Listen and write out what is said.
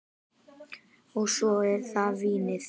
Og svo er það vínið.